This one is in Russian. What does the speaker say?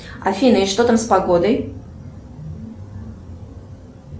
афина и что там с погодой